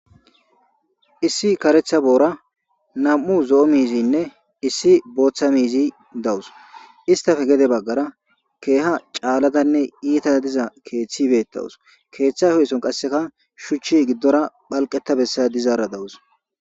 issi karetha boora nam7u zo7o miizinne issi booththa miizi dawus istafe gede baggara keeha caaladanne iita diza keeththibeettawus keeththa hoysson qasseka shuchchi giddora phalqetta bessaya dizaara dawus